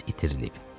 iz itirilib.